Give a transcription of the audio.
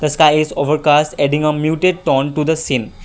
the sky is overcast adding a muted tone to the same.